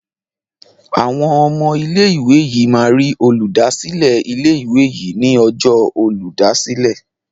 Awọn ọmọ ilé ìwé yí má rí Olùdásílẹ̀ ilé ìwé yí ní Ọjọ́ Olùdásílẹ̀.